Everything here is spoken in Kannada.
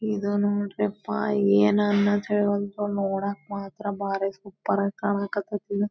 ಇದು ನೋಡ್ರಿಪಾ ನೋಡಕ್ ಮಾತ್ರ ಬಾರಿ ಸೂಪರ್ ಆಗಿ ಕಾಣಕತ್ತತಿ.